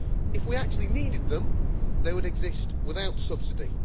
If we actually needed them, they would exist without subsidy.